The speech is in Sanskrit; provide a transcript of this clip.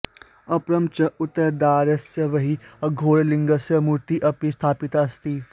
अपरं च उत्तरद्वारस्य बहिः अघोरलिङ्गस्य मूर्तिः अपि स्थापिता अस्ति